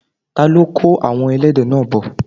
ta ló kó àwon ẹlẹ́dẹ̀ náà bọ̀?